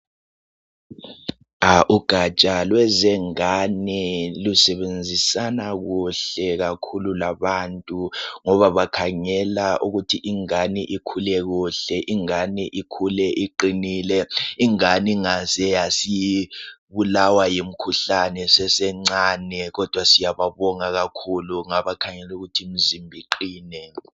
Ugaja lwezingane lusebenzisana kuhle kakhulu labantu ngoba bakhangela ukuthi ingane ikhule kuhle, ingane ikhule iqinile ,ingane ingaze yasibulawa yimikhuhlane isesencane kodwa siyababonga kakhulu ngabakhangela ukuthi imizimba iqine.